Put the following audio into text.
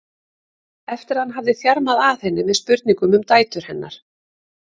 eftir að hann hafði þjarmað að henni með spurningum um dætur hennar.